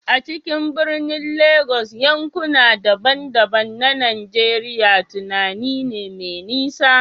A cikin birnin Legas, yankuna daban-daban na Najeriya tunani ne mai nisa.